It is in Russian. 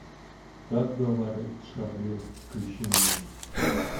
как говорит шарли включи мне